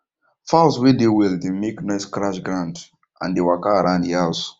fowls way dey well dey make noisescratch ground and they walka around e house